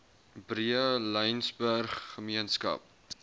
breë laingsburg gemeenskap